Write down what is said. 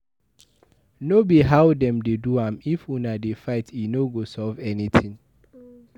No be how dem dey do am. If una dey fight e no go solve anything